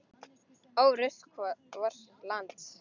Ó rusl vors lands.